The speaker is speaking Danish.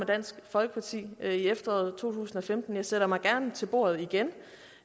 dansk folkeparti i efteråret to tusind og femten jeg sætter mig gerne til bordet igen